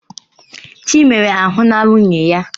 Chinemere ahụla nwunye ya.